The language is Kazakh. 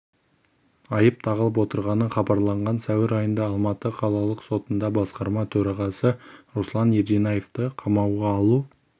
айып тағылып отырғаны хабарланған сәуір айында алматы қалалық сотында басқарма төрағасы руслан ерденаевты қамауға алу